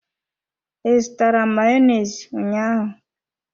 I zụtara Mayonezi ụnyaahụ?